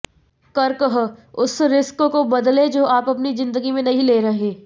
कर्कः उस रिस्क को बदलें जो आप अपनी जिंदगी में नहीं ले रहे